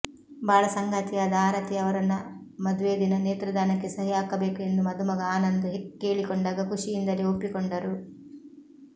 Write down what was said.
ಬಾಳ ಸಂಗಾತಿಯಾದ ಆರತಿ ಅವರನ್ನು ಮದುವೆ ದಿನ ನೇತ್ರದಾನಕ್ಕೆ ಸಹಿ ಹಾಕಬೇಕು ಎಂದು ಮಧುಮಗ ಆನಂದ್ ಕೇಳಿಕೊಂಡಾಗ ಖುಷಿಯಿಂದಲೇ ಒಪ್ಪಿಕೊಂಡರು